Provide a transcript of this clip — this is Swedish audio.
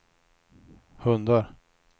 hundar